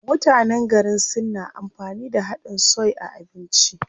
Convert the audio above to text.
Mutanen garin Sin na amfani da haɗin soy a abinci.